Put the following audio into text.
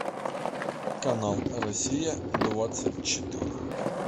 канал россия двадцать четыре